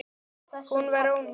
Hún var ónýt.